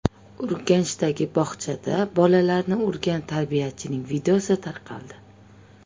Urganchdagi bog‘chada bolalarni urgan tarbiyachining videosi tarqaldi.